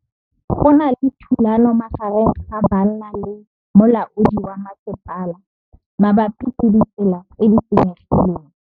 Go na le thulanô magareng ga banna le molaodi wa masepala mabapi le ditsela tse di senyegileng.